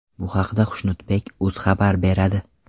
Bu haqda Xushnudbek.uz xabar beradi .